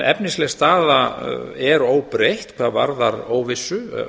efnisleg staða á málinu er enn óbreytt hvað varðar óvissu